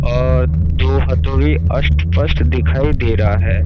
और जो अस्त पास्ट दिखाई दे रहा है।